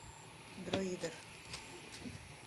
друидер